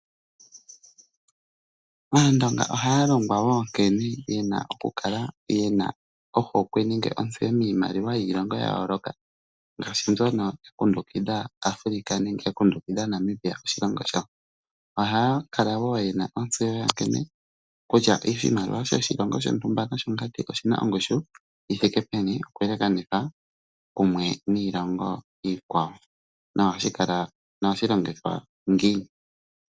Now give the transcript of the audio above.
Aandonga ohaya longwa wo nkene ye na okukala ye na ohokwe nenge ontseyo miimaliwa yiilongo ya yooloka, ngaashi mbyono ya kundukidha Africa nenge Namibia, oshilongo shawo. Ohaya kala wo ye na ontseyo kutya oshimaliwa shoshilongo shontumba noshongandi oshi na ongushu yi thike peni okuyelekanitha niilongo iikwawo nohashi longithwa ngiini.